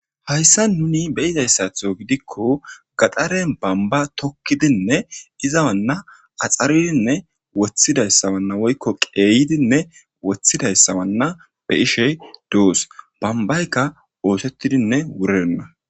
Hassan nu beyyizayssaththo gaxxaren bombba tokkidi izana axxari woykko qeeyidinne woththidayssa bessishe dees. bombaykka boshetidinne wurirenna.